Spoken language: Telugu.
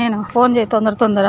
నేను ఫోన్ చేయు తొందర తొందరగా.